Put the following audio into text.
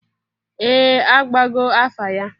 Ee! Agbago afa ya.